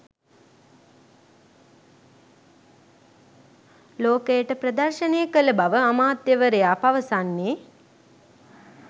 ලෝකයට ප්‍රදර්ශනය කළ බව අමාත්‍යවරයා පවසන්නේ.